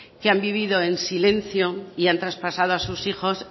que han vivido en silencio y han traspasado a sus hijos